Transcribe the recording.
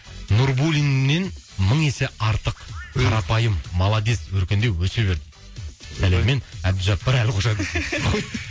нурбуллиннен мың есе артық қарапайым молодец өркендеп өсе бер сәлеммен әбдіжаппар әлқожа дейді